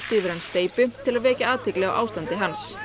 yfir hann steypu til að vekja athygli á ástandi hans